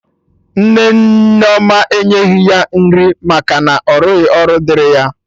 Nne Nneoma enyeghi ya nri maka na ọrụghị ọrụ dịrị ya